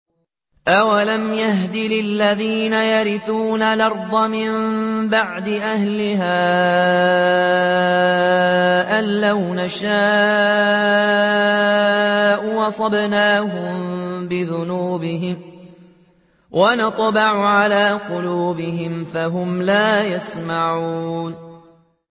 أَوَلَمْ يَهْدِ لِلَّذِينَ يَرِثُونَ الْأَرْضَ مِن بَعْدِ أَهْلِهَا أَن لَّوْ نَشَاءُ أَصَبْنَاهُم بِذُنُوبِهِمْ ۚ وَنَطْبَعُ عَلَىٰ قُلُوبِهِمْ فَهُمْ لَا يَسْمَعُونَ